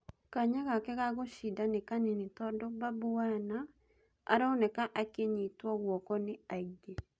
Kanya gake ga-gũcinda nĩ kanini tondũ Babu Wana aronekana akĩnyitwo guoko ni aingĩ.